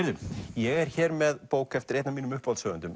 ég er hér með bók eftir einn af mínum